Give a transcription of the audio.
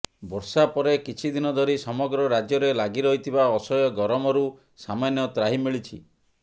ବର୍ଷା ପରେ କିଛିଦିନ ଧରି ସମଗ୍ର ରାଜ୍ୟରେ ଲାଗି ରହିଥିବା ଅସହ୍ୟ ଗରମରୁ ସାମାନ୍ୟ ତ୍ରାହି ମିଳିଛି